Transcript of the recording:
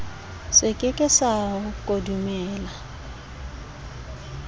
se ke ke sa kodumela